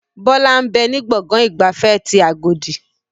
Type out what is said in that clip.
Bọlá ń bẹ ní gbọ̀ngàn ìgbafẹ́ ti agodi